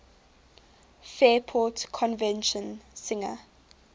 fairport convention singer